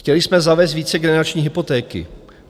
Chtěli jsme zavést vícegenerační hypotéky.